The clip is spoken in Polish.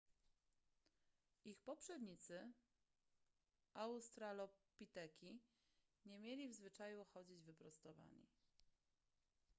ich poprzednicy australopiteki nie mieli w zwyczaju chodzić wyprostowani